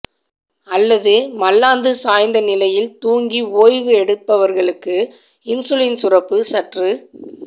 அல்லது மல்லாந்து சாய்ந்தநிலையில் துாங்கி ஓய்வு எடுப்பவர்களுக்கு இன்சுலின் சுரப்பு சற்று